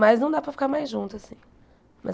Mas não dá para ficar mais junto assim.